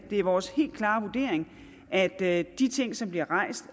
det er vores helt klare vurdering at de ting som bliver rejst